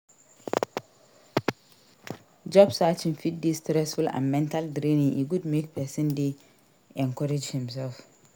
Job searching fit de stressful and mental draining e good make persin de encourage himself